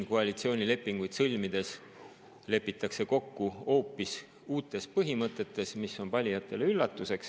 Koalitsioonilepinguid sõlmides lepitakse kokku hoopis uutes põhimõtetes, mis on valijatele üllatuseks.